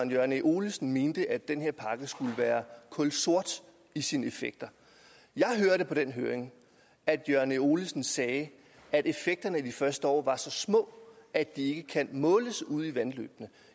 jørgen e olesen mente at den her pakke skulle være kulsort i sine effekter jeg hørte på den høring at jørgen e olesen sagde at effekterne de første år var så små at de ikke kan måles ude i vandløbene